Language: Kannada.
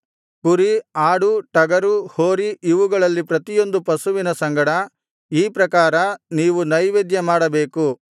ಕುರಿ ಆಡು ಟಗರು ಹೋರಿ ಇವುಗಳಲ್ಲಿ ಪ್ರತಿಯೊಂದು ಪಶುವಿನ ಸಂಗಡ ಈ ಪ್ರಕಾರ ನೀವು ನೈವೇದ್ಯಮಾಡಬೇಕು